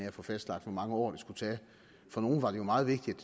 at få fastlagt hvor mange år det skulle tage for nogle var det jo meget vigtigt